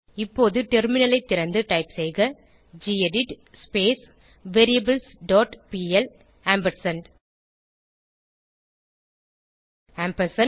இப்போது டெர்மினலை திறந்து டைப் செய்க gedit variables dot PL ampersand ampersand